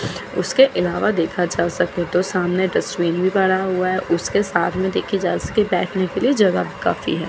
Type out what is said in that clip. उसके ईलावा देखा जा सके तो सामने तो सामने बना हुआ है उसके सामने देखा जा सके तो बैठने के लिए जगह भी काफी है।